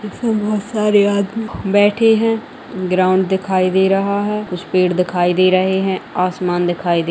इसमें बहुत सारे आदमी बैठे है ग्राउंड दिखाई दे रहा है कुछ पेड़ दिखाई दे रहे है आसमान दिखाई दे --